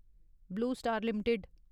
blue Star limited